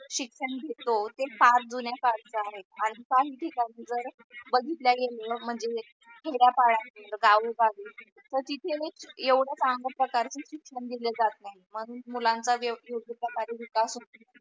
शिक्षण घेतो ते फार जुन्या काळचे आहे आणि काही ठिकाणी बर बगीतल्या गेलेल्या म्हणजे खेड्या पाड्या गावो गावी तर तिथे येवड काम करता शिक्षण दिले जात नाही म्हणून मुलांच्या योग्य प्रकारे विकास होत नाही.